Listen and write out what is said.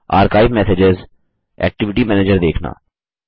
अकाईव messages activity manager देखना